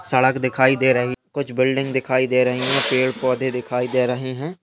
सड़क दिखाई दे रही कुछ बिल्डिंग दिखाई दे रही है पेड़ पौधे दिखाई दे रहे है।